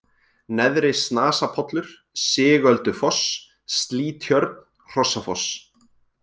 Neðri-Snasapollur, Sigöldufoss, Slýtjörn, Hrossafoss